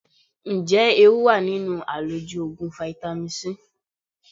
Ǹjẹ́ ewu wà nínú àlòjù Ògùn fáítámì C?